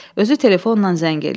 Özü telefonla zəng eləyir.